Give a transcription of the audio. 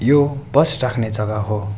यो बस राख्ने जगा हो।